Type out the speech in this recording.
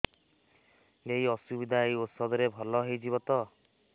ଏଇ ଅସୁବିଧା ଏଇ ଔଷଧ ରେ ଭଲ ହେଇଯିବ ତ